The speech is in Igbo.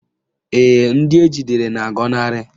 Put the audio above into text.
Ee, ndị ejidere na-agọnarị